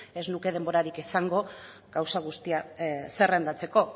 ez nuke denborarik izango gauza guztiak zerrendatzeko